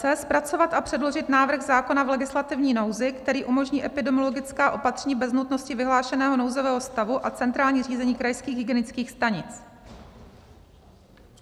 c) zpracovat a předložit návrh zákona v legislativní nouzi, který umožní epidemiologická opatření bez nutnosti vyhlášeného nouzového stavu a centrální řízení krajských hygienických stanic.